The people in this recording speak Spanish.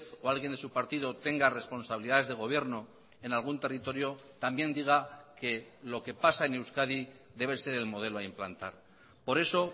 o alguien de su partido tenga responsabilidades de gobierno en algún territorio también diga que lo que pasa en euskadi debe ser el modelo a implantar por eso